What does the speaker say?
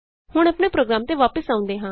ਹੁਣ ਆਪਣੇ ਪ੍ਰੋਗਰਾਮ ਤੇ ਵਾਪਸ ਆਉਂਦੇ ਹਾਂ